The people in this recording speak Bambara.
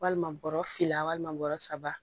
Walima bɔrɔ fila walima bɔrɔ saba